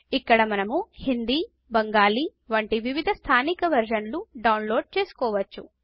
ఇక్కడ మనము హిందీ బెంగాలీ వంటి వివిధ స్థానిక వెర్షన్లు డౌన్లోడ్ చేసుకోవచ్చు